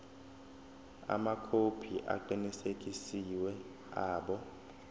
amakhophi aqinisekisiwe abo